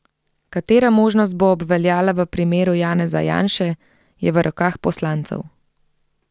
Katera možnost bo obveljala v primeru Janeza Janše, je v rokah poslancev.